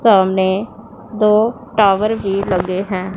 सामने दो टावर भी लगे हैं।